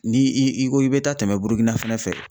Ni i ko i bɛ taa tɛmɛ Burukina fana fɛ